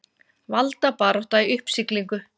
Valdabarátta í uppsiglingu